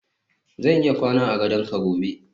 zan iya kwana a gadon ka gobe